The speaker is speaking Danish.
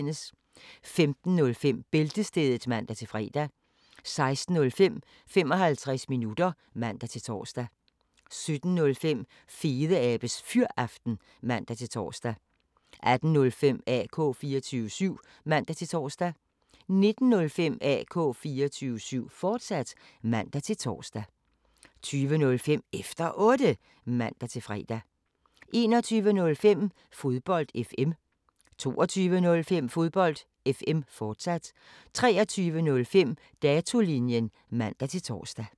15:05: Bæltestedet (man-fre) 16:05: 55 minutter (man-tor) 17:05: Fedeabes Fyraften (man-tor) 18:05: AK 24syv (man-tor) 19:05: AK 24syv, fortsat (man-tor) 20:05: Efter Otte (man-fre) 21:05: Fodbold FM 22:05: Fodbold FM, fortsat 23:05: Datolinjen (man-tor)